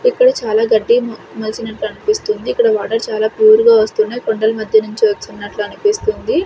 ఇక్కడ చాలా గడ్డి మొలచినట్టు అనిపిస్తుంది ఇక్కడ వాటర్ చాలా ప్యూర్ గా వస్తుంది కొండల మధ్య నుంచి వచ్చినట్లు అనిపిస్తుంది.